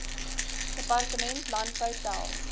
departement landbou tel